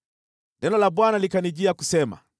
Neno la Bwana likanijia kusema,